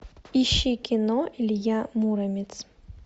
ищи кино илья муромец